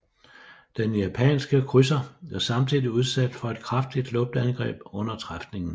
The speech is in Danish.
Den japanske krydser blev samtidig udsat for et kraftigt luftangreb under træfningen